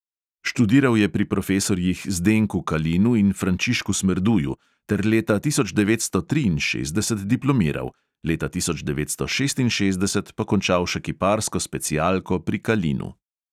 Študiral je pri profesorjih zdenku kalinu in frančišku smerduju ter leta tisoč devetsto triinšestdeset diplomiral, leta tisoč devetsto šestinšestdeset pa končal še kiparsko specialko pri kalinu.